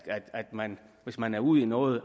at man hvis man er ude i noget